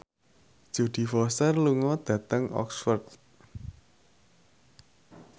Jodie Foster lunga dhateng Oxford